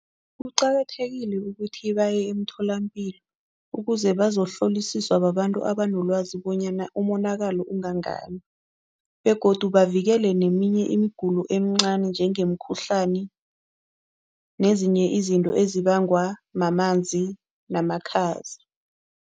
Kuqakathekile ukuthi baye emtholampilo ukuze bazohlolisiswa babantu abanelwazi bonyana umonakalo ungangani begodu bavikele neminye imigulo encani njengemkhuhlani nezinye izinto ezibangwa mamanzi namakhaza.